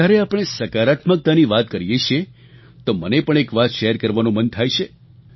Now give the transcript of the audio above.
જ્યારે આપણે સકારાત્મકતાની વાત કરીએ છીએ તો મને પણ એક વાત શેર કરવાનું મન થાય છે